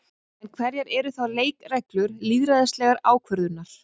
En hverjar eru þá leikreglur lýðræðislegrar ákvörðunar?